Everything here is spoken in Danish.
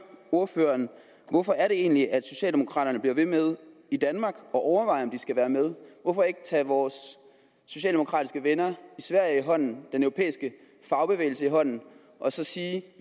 ordføreren hvorfor er det egentlig at socialdemokraterne bliver ved med at overveje om de skal være med hvorfor ikke tage vores socialdemokratiske venner i sverige og den europæiske fagbevægelse i hånden og så sige